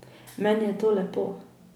Meni je to lepo.